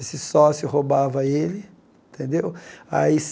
Esse sócio roubava ele. Tendeu aí